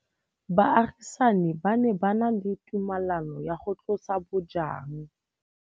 Baagisani ba ne ba na le tumalanô ya go tlosa bojang.